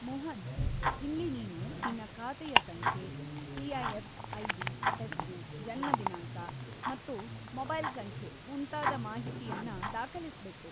ಮೋಹನ್‌, ಇಲ್ಲಿ ನೀನು ನಿನ್ನ ಖಾತೆಯ ಸಂಖ್ಯೆ, ಸಿ.ಐ.ಎಫ್‌. ಐ.ಡಿ., ಹೆಸ್ರು, ಜನ್ಮ ದಿನಾಂಕ ಮತ್ತು ಮೊಬೈಲ್‌ ಸಂಖ್ಯೆ ಮುಂತಾದ ಮಾಹಿತಿಯನ್ನ ದಾಖಲಿಸ್ಬೇಕು.